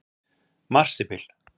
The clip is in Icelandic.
Marsibil